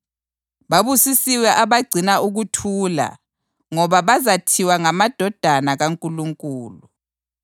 Babusisiwe abagcina ukuthula ngoba bazathiwa ngamadodana kaNkulunkulu.